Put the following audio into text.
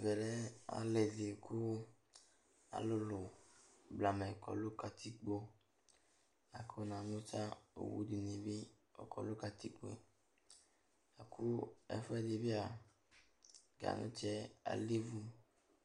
Ɛvɛ lɛ alɩ dɩ alʋlʋ blamɛ kɔ nʋ katikpo la kʋ namʋ ta owu dɩnɩ bɩ akɔ nʋ katikpo yɛ la kʋ ɛfʋɛdɩ bɩ a, ganʋtsɛ alɛ ivu